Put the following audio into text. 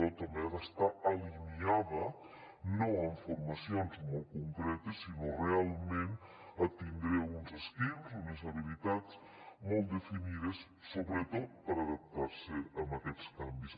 també han d’estar alineats no en formacions molt concretes sinó realment a tindre uns skills unes habilitats molt definides sobretot per a adaptar se a aquests canvis